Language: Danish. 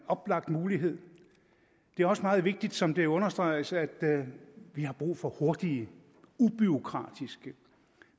oplagt mulighed det er også meget vigtigt som det understreges at vi har brug for hurtige ubureaukratiske